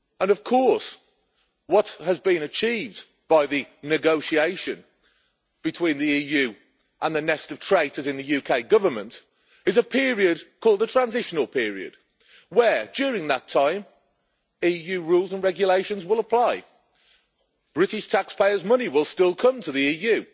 Of course, what has been achieved by the negotiations between the EU and the nest of traitors in the UK Government is a period called the transitional period where, during that time, EU rules and regulations will apply. British taxpayers' money will still come to the EU